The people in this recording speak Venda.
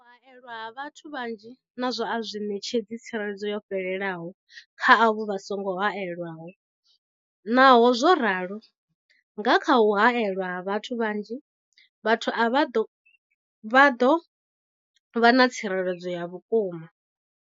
U haelwa ha vhathu vhanzhi nazwo a zwi ṋetshedzi tsireledzo yo fhelelaho kha avho vha songo haelwaho, naho zwo ralo, nga kha u haelwa ha vhathu vhanzhi, vhathu avha vha ḓo vha na tsireledzo ya vhukuma.